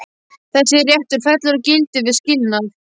Þessi réttur fellur úr gildi við skilnað.